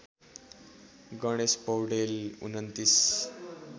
Ganesh Paudel २९